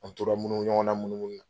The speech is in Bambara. An tora minnu ɲɔgɔn na munu munu na.